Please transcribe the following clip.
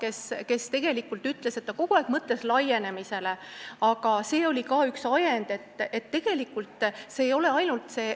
Ettevõtja tegelikult ütles, et ta oli kogu aeg laienemisele mõelnud, aga see oli ajend.